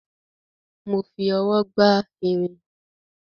Mo fi ọwọ́ gbá irin